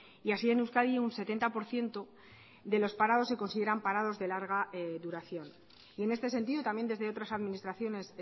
y así en euskadi un setenta por ciento de los parados se consideran parados de larga duración y en este sentido también desde otras administraciones